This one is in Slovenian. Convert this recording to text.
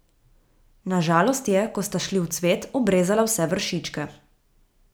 Na žalost je, ko sta šli v cvet, obrezala vse vršičke.